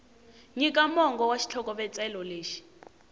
nyika mongo wa xitlhokovetselo lexi